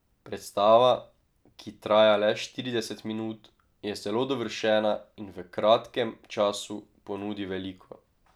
Predstava, ki traja le štirideset minut, je zelo dovršena in v kratkem času ponudi veliko.